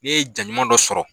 Ne ye ja ɲuman dɔ sɔrɔ